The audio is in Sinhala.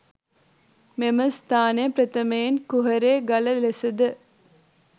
මෙම ස්ථානය ප්‍රථමයෙන් කුහරේ ගල ලෙසද